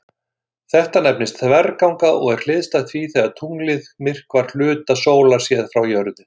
Þetta nefnist þverganga og er hliðstætt því þegar tunglið myrkvar hluta sólar séð frá jörðu.